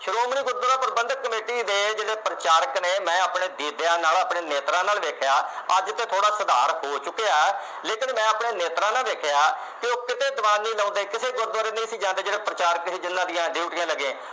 Shiromani Gurdwara Parbandhak committee ਦੇ ਜਿਹੜੇ ਪ੍ਰਚਾਰਕ ਨੇ ਮੈਂ ਆਪਣੇ ਦੀਦਿਆ ਨਾਲ ਆਪਣੇ ਨੇਤਰਾਂ ਨਾਲ ਵੇਖਿਆ ਅੱਜ ਤੇ ਥੋੜਾ ਸੁਧਾਰ ਹੋ ਚੁੱਕਿਆ ਲੇਕਿਨ ਮੈਂ ਆਪਣੇ ਨੇਤਰਾਂ ਨਾਲ ਵੇਖਿਆ ਕਿ ਉਹ ਤੇ ਕਿਤੇ ਦਵਾਨ ਨਹੀਂ ਲਾਉਦੇ ਕਿਤੇ ਗੁਰਦੁਆਰੇ ਨਹੀ ਸੀ ਜਾਂਦੇ ਜਿਹੜੇ ਪ੍ਰਚਾਰਕ ਸੀ ਜਿਨ੍ਹਾਂ ਦੀਆਂ ਡਿਊਟੀਆਂ ਲੱਗੇ